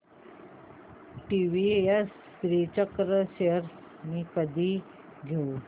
TVS Srichakra shares मी कधी घेऊ